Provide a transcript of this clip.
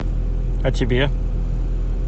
а тебе